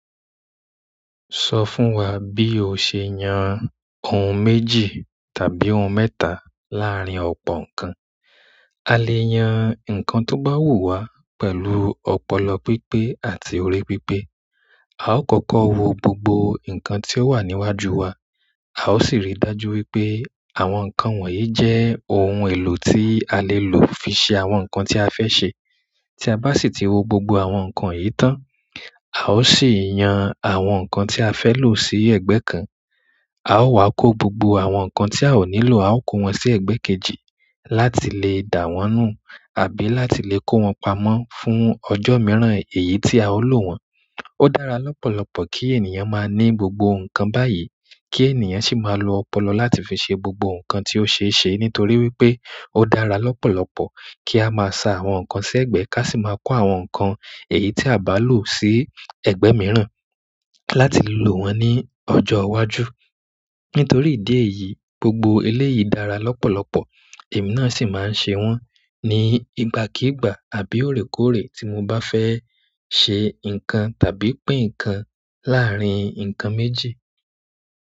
Sọ fún wa bí o ṣe yan ohun méjì tàbí ohun mẹ́ta láàárín ọ̀pọ̀ nǹkan. A lè yan nǹkan tó bá wù wá pẹ̀lú ọpọlọ pípé àti orí pípé. A ó kọ̀kọ̀ wo gbogbo nǹkan tí ó wà níwájú wa, a ó sì ríi dájú wípé àwọn nǹkan wọ̀nyí jẹ́ ohun èlò tí a le lò fi ṣe àwọn nǹkan tí a fẹ́ ṣe. Tí a bá sì ti wo gbogbo àwọn nǹkan yìí tán, a ó sì yan àwọn nǹkan tí a fẹ́ lò sí ẹ̀gbẹ́ kan. A ó wá kó gbogbo àwọn nǹkan tí a ò nílò, a ó kó wọn sí ẹ̀gbẹ́ kejì láti lè dà wọ́n nù àbí láti lè kó wọn pamọ́ fún ọjọ́ mìíràn èyí tí a ó lò wọ́n. Ó dára lọ́pọ̀lọpọ̀ kí ènìyàn máa ní gbogbo nǹkan báyìí kí ènìyàn sì máa lo ọpọlọ láti fi ṣe gbogbo nǹkan tí ó ṣeé ṣe nítorí wípé ó dára lọ́pọ̀lọpọ̀ kí a máa sa àwọn nǹkan sí ẹ̀gbẹ́ ká sì máa kó àwọn nǹkan èyí tí à bá lò sí ẹ̀gbẹ́ mìíràn láti lò wọ́n ní ọjọ́ iwájú. Nítorí ìdí èyí, gbogbo eléyìí dára lọ́pọ̀lọpọ̀, èmi náà sì máa ń ṣe wọ́n ní ìgbàkíìgbà àbí óòrèkóòrè tí mo bá fẹ́ ṣe nǹkan tàbí pín nǹkan láàárín nǹkan méjì.